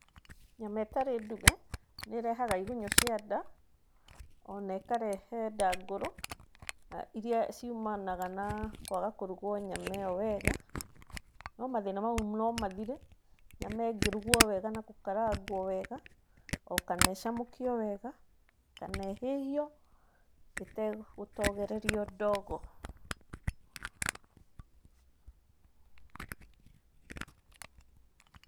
Nyama ĩtarĩ nduge nĩ ĩrehaga igunyũ cia nda, o na ĩkarehe ndangũrũ, iria ciumanaga na kwaga kũrugwo nyama ĩyo wega, no mathĩna mau no mathire nyama ĩngĩrugwo wega na gũkarangwo wega, o kana ĩcamũkio wega, kana ĩhĩhio ĩtegũtogererio ndogo.